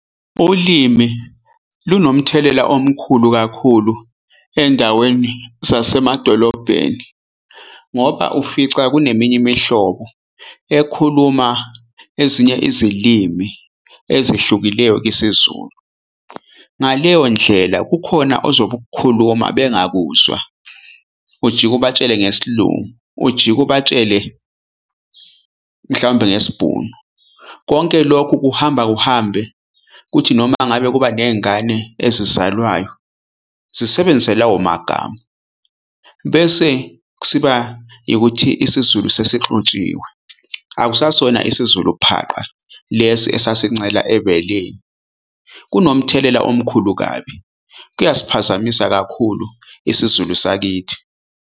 Ulimi lunomthelela omkhulu kakhulu endaweni zasemadolobheni ngoba ufica kuneminye imihlobo ekhuluma ezinye izilimi ezihlukileyo isiZulu. Ngaleyo ndlela kukhona ozobe ukukhuluma bengakuzwa, ujike ubatshele ngesiLungu, ujike ubatshele mhlaw'mbe ngesiBhunu. Konke lokhu kuhamba kuhambe ukuthi noma ngabe kuba nengane ezizalwayo sisebenzise lawo magama bese siba yikuthi isiZulu sesixutshiwe, akusasona isiZulu phaqa. Lesi esasincela ebeleni, kunomthelela omkhulu kabi, kuyasiphazamisa kakhulu isiZulu sakithi.